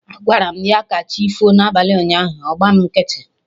Agwaram ya 'kachifo' na abalị ụnyaahụ, ọ gba mụ nkịtị